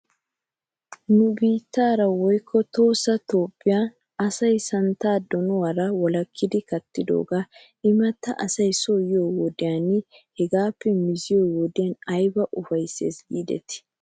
Nu biittara woykko tohossa toophphiyaara asay santtaa donuwaara wolakkidi kattidoogaa imatta asay soo yiyoo wodiyan hegaappe miziyoo wodiyan ayba ufayttes giidetii?